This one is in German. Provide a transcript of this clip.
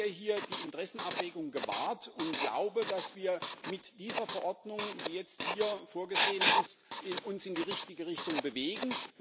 Ich sehe hier die Interessenabwägung gewahrt und glaube, dass wir uns mit der Verordnung, die jetzt hier vorgesehen ist, in die richtige Richtung bewegen.